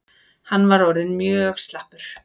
Hann var orðinn mjög slappur.